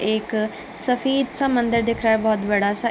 एक सफ़ेद सा मंदिर दिख रहा है बहोत बड़ा सा --